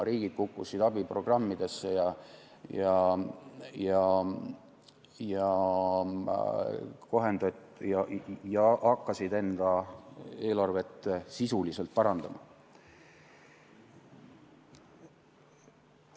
Riigid kukkusid abiprogrammidesse ja hakkasid enda eelarvet sisuliselt parandama.